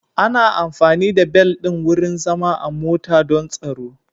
Ana amfani da bel ɗin wurin zama a mota don tsaro.